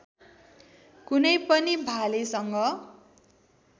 कुनै पनि भालेसँग